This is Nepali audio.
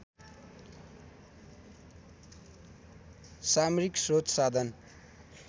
सामरिक स्रोत साधन